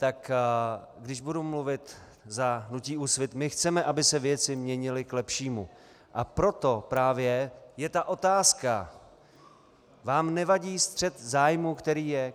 Tak když budu mluvit za hnutí Úsvit, my chceme, aby se věci měnily k lepšímu, a proto právě je ta otázka - vám nevadí střet zájmů, který je?